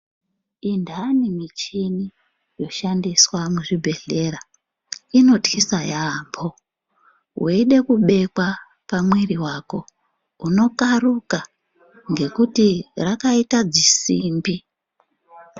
Indani michini yoshandiswa muzvibhehlera inotyisa yaamho weide kubekwa pamwiri wako unokaruka ngekuti rakaita dzisimbi.